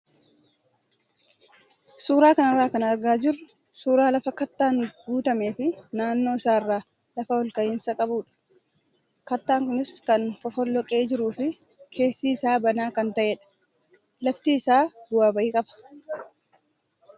Suuraa kanarraa kan argaa jirru suuraa lafa kattaan guutamee fi naannoo isaarraa lafa ol ka'iinsa qabudha. Kattaan kunis kan fofolloqee jiruu fi keessi isaa banaa kan ta'edha. Lafti isaa bu'aa bahii qaba.